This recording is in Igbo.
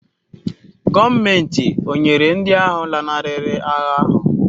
Gọọmenti ọ̀ nyere ndị ahụ lanarịrị agha ahụ́?